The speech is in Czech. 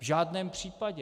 V žádném případě.